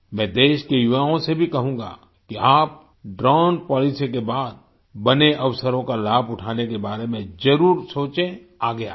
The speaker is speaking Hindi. मैं देश के युवाओं से भी कहूँगा कि आप ड्रोन पॉलिसी के बाद बने अवसरों का लाभ उठाने के बारे में जरूर सोचें आगे आएं